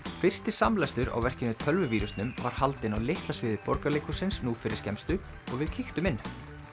fyrsti samlestur á verkinu tölvuvírusnum var haldinn á litla sviði Borgarleikhússins nú fyrir skemmstu og við kíktum inn